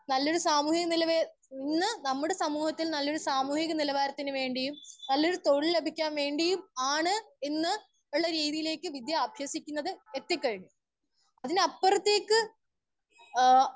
Speaker 1 നല്ലൊരു സമൂഹം എന്നുള്ളത് ഇന്ന് നമ്മുടെ സമൂഹത്തിൽ നമ്മുടെ സാമൂഹ്യ നിലവാരത്തിന് വേണ്ടിയും നല്ല ഒര്‌ തൊഴിൽ ലഭിക്കാൻ വേണ്ടിയും ആണ് ഇന്ന് എന്നുള്ള രീതിയിലേക്ക് വിദ്യ അഭ്യസിക്കുന്നത് എത്തിക്കഴിഞ്ഞു. അതിലപ്പുറത്തേക്ക് ഏ